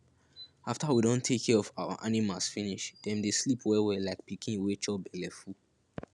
after we don take care of our animals finish dem dey sleep wellwell like pikin wey chop belleful